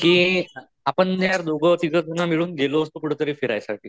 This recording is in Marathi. कि आपण ना दोघे तिघजन मिळून गेलो असतो कुठंतरी फिरायसाठी